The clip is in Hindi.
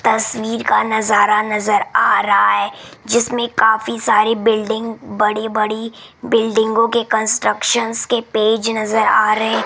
तस्वीर का नजारा नजर आ रहा है जिसमें काफी सारी बिल्डिंग बड़ी बड़ी बिल्डिंगों के कंस्ट्रक्शन के पेज नजर आ रहे --